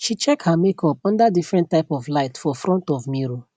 she check her makeup under different type of light for front of mirror